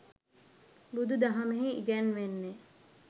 බුදු දහමෙහි ඉගැන්වෙන්නේ